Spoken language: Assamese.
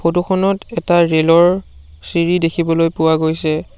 ফটো খনত এটা ৰেলৰ চিৰি দেখিবলৈ পোৱা গৈছে।